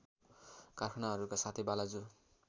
कारखानाहरूका साथै बालाजु